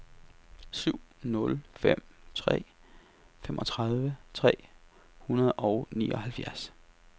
syv nul fem tre femogtredive tre hundrede og nioghalvfjerds